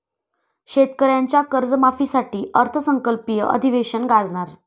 शेतकऱ्यांच्या कर्जमाफीसाठी अर्थसंकल्पीय अधिवेशन गाजणार